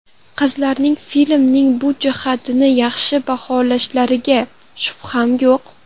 Qizlarning filmning bu jihatini yaxshi baholashlariga shubham yo‘q.